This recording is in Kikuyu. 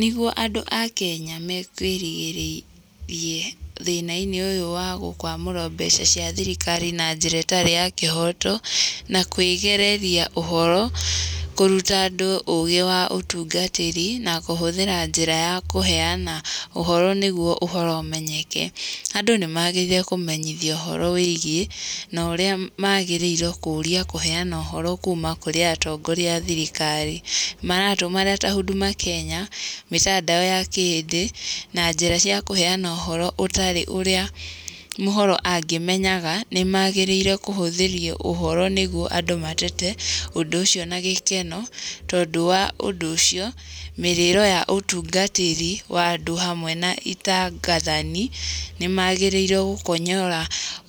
Nĩguo andũ akenya me girĩrĩrie thĩna-inĩ ũyũ wa gũkwamũrwo mbeca cia thirikari na njĩra ĩtarĩ ya kĩhoto, na kwĩgereria ũhoro, kũruta andũ ũgĩ wa ũtungatĩri, na kũhũthĩra njĩra ya kũheana ũhoro nĩguo ũhoro ũmenyeke. Andũ nĩ maagĩrĩire kũmenyithio ũhoro wĩgiĩ, na ũrĩa maagĩrĩirwo kũũria kũheana ũhoro kuuma kũrĩ atongoria a thirikari. Maratũ marĩa ta Huduma Kenya, mĩtandao ta ya kĩhĩndĩ, na njĩra cia kũheana ũhoro ũtarĩ ũrĩa mũhoro angĩmenyaga. Nĩ maagĩrĩire kũhũthĩrio ũhoro nĩguo andũ matete ũndũ ũcio na gĩkeno. Tondũ wa ũndũ ũcio, mĩrĩiro ya ũtungatĩri wa andũ hamwe na itangathani, nĩ maagĩrĩrwo gũkonyora